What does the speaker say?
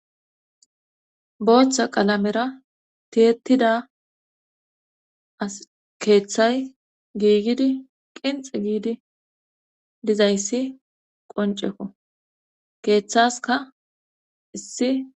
booththa qalamera tiyettida as keeththay giigidi qinxi giidi dizayssi qonceko keeththaska issi